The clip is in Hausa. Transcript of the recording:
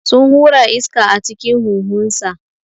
Sun hura iska a cikin huhunsa.